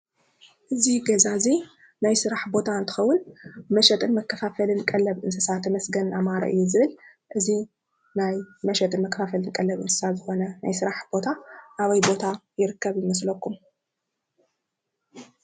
እዚ ገዛ እዚ ናይ ስራሕ ቦታ እንትከውን መሸጥን መከፋፈልን ቀለብ እንስሳ ተመስገን ኣማረ እዩ ዝብል:: እዚ ናይ መሸጥን መከፋፈልን ቀለብ እንስሳ ዝኮነ ናይ ስራሕ ቦታ ኣበይ ቦታ ይርከብ ይመስለኩም?